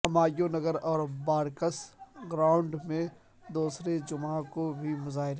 ہمایوں نگر اور بارکس گراونڈ میں دوسرے جمعہ کو بھی مظاہرے